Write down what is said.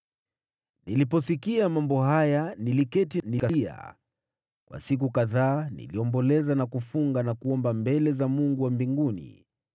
Niliposikia mambo haya, niliketi, nikalia. Kwa siku kadhaa niliomboleza na kufunga na kuomba mbele za Mungu wa mbinguni.